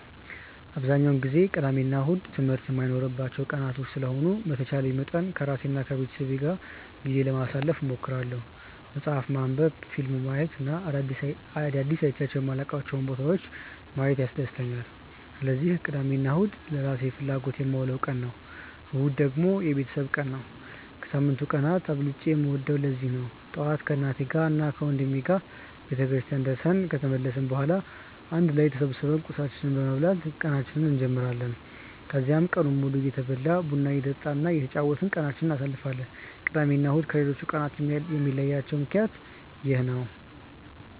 አብዛኛውን ጊዜ ቅዳሜ እና እሁድ ትምህርት የማይኖርባቸው ቀናቶች ስለሆኑ በተቻለኝ አቅም ከራሴ እና ከቤተሰቤ ጋር ጊዜ ለማሳለፍ እሞክራለሁ። መፅሀፍ ማንበብ፣ ፊልም ማየት እና አዳዲስ አይቼ የማላውቃቸውን ቦታዎች ማየት ያስደስተኛል። ስለዚህ ቅዳሜን ለራሴ ፍላጎቶች የማውለው ቀን ነው። እሁድ ደግሞ የቤተሰብ ጊዜ ነው። ከሳምንቱ ቀናት አብልጬ የምወደውም ለዚህ ነው። ጠዋት ከእናቴና ወንድሜ ጋር ቤተክርስቲያን ደርሰን ከተመለስን በኋላ አንድ ላይ ተሰብስበን ቁርሳችንን በመብላት ቀናችንን እንጀምራለን። ከዛም ቀኑን ሙሉ እየበላን፣ ቡና እየጠጣን እና እየተጫወትን ቀናችንን እናሳልፋለን። ቅዳሜ እና እሁድን ከሌሎቹ ቀናቶች የሚለያቸው ምክንያት ይህ ነው።